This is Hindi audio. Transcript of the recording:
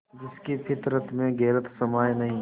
जिसकी फितरत में गैरत समाई नहीं